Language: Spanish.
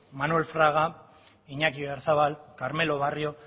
manuel fraga iñaki oyarzabal carmelo barrio